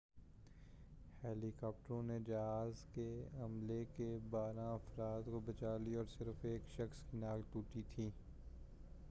ہیلی کاپٹروں نے جہاز کے عملے کے بارہ افراد کو بچا لیا اور صرف ایک شخص کی ناک ٹوٹی تھی